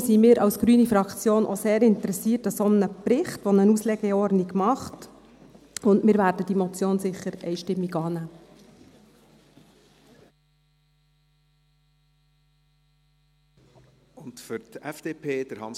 Deshalb sind wir als grüne Fraktion auch sehr interessiert an einem solchen Bericht, der eine Auslegeordnung macht, und wir werden diese Motion sicher einstimmig annehmen.